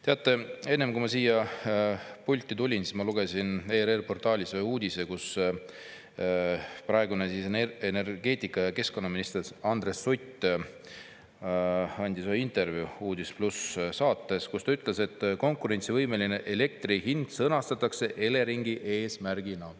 Teate, enne kui ma siia pulti tulin, ma lugesin ERR‑i portaalis üht uudist sellest, et praegune energeetika‑ ja keskkonnaminister Andres Sutt andis intervjuu "Uudis+" saates, kus ta ütles, et konkurentsivõimeline elektri hind sõnastatakse Eleringi eesmärgina.